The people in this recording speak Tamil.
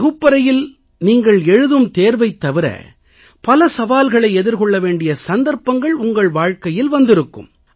வகுப்பறையில் நீங்கள் எழுதும் தேர்வைத் தவிர பல சவால்களை எதிர்கொள்ள வேண்டிய சந்தர்ப்பங்கள் உங்கள் வாழ்க்கையில் வந்திருக்கும்